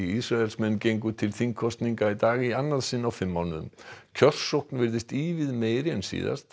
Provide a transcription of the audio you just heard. Ísraelsmenn gengu til þingkosninga í dag í annað sinn á fimm mánuðum kjörsókn virðist ívið meiri en síðast